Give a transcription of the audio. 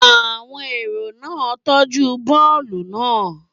Àwọn èrò náà tọ́jú bọ́ọ̀lù náà.